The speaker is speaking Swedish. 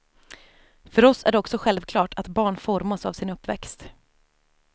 För oss är det också självklart att barn formas av sin uppväxt.